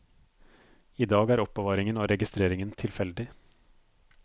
I dag er er oppbevaringen og registreringen tilfeldig.